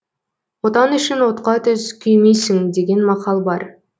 отан үшін отқа түс күймейсің деген мақал бар